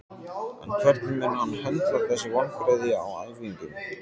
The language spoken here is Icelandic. En hvernig mun hann höndla þessi vonbrigði á æfingum?